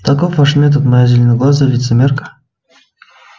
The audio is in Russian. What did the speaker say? таков ваш метод моя зеленоглазая лицемерка